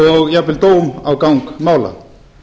og jafnvel dóm á gang mála